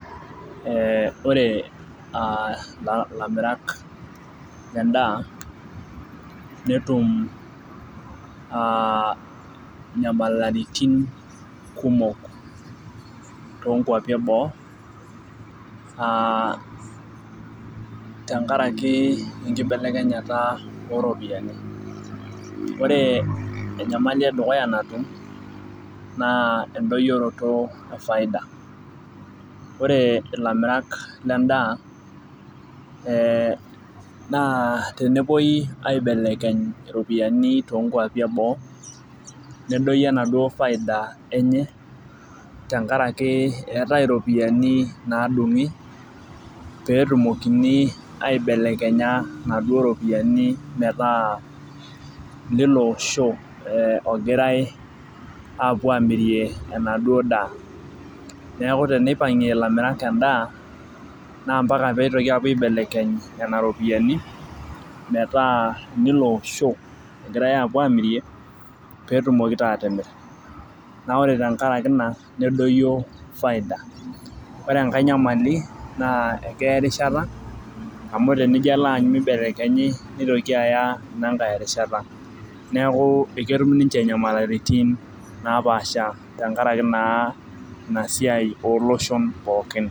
Eeh ore ilamirak lendaa netum aa inyamalaritin kumok toonkuapi eboo aa tenkaraki enkibelekenyata ooropiyiani ore enyamali edukuya natum naa endoyiroto e faida ,ore tenepuoi aibelekeny iropiyiani toonkuapi eboo nedoyio enaduo faida enye tenkaraki eetai iropiyiani naadungi peetumokini aibelekenya inaduo ropiyiani metaa ino osho ogirai aamirie enaduo daa neeku teneipangie ilamirak endaa naa lasima pepuoi aibelekeny inaduo ropiyiani metaa ilo osho ogirai aapuo amirie petumoki taa atimir naa ore tenkaraki ina nedoyie faida amu tenijio alo aanyu meibelekenyi neitoki inankae aya erishata neeku eketum ninche inyamalaritin naapasha tenkaraki naa inasiai ooloshon pookin